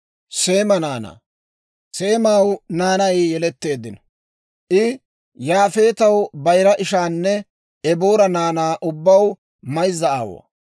Seemaw naanay yeletteeddino; I Yaafeetaw bayira ishaanne Eboora naanaa ubbaw mayza aawuwaa.